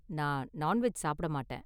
நான் நான்வெஜ் சாப்பிட மாட்டேன்.